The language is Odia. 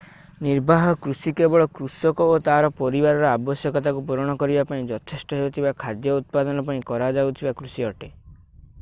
ନିର୍ବାହ କୃଷି କେବଳ କୃଷକ ଓ ତା'ର ପରିବାରର ଆବଶ୍ୟକତାକୁ ପୂରଣ କରିବା ପାଇଁ ଯଥେଷ୍ଟ ହେଉଥିବା ଖାଦ୍ୟ ଉତ୍ପାଦନ ପାଇଁ କରାଯାଉଥିବା କୃଷି ଅଟେ